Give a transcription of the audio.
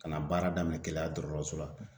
Ka na baara daminɛ Keleya dɔgɔtɔrɔso la